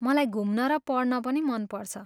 मलाई घुम्न र पढ्न पनि मन पर्छ।